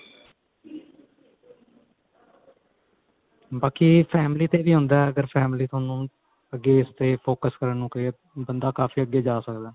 ਬਾਕੀ family ਤੇ ਵੀ ਹੁੰਦਾ ਅਗਰ family ਤੁਹਾਨੂੰ ਅੱਗੇ ਫੇਰ focus ਕਰਨ ਨੂੰ ਕਹੇ ਬੰਦਾ ਕਾਫੀ ਅੱਗੇ ਜਾ ਸਕਦਾ